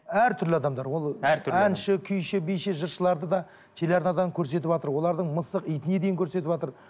әртүрлі адамдар ол әнші күйші биші жыршыларды да телеарнадан көрсетіватыр олардың мысық итіне дейін көрсетіватыр